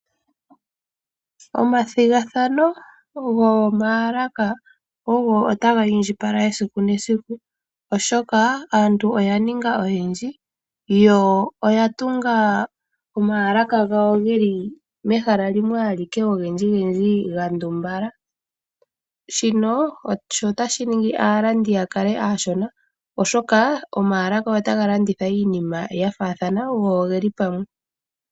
Omathigathano gomaalaka ogo taga indjipala esiku nesiku oshoka aantu oya ninga oyendji yo oya tunga omaalaka gayo geli mehala limwe alike ogendjigendji ga ndumbala. Shino otashi ningi aalandi ya kale aashona oshoka omaalaka otaga landitha iinima ya faathana go ogeli pamwe.